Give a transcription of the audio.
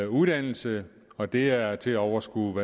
uddannelse og det er til at overskue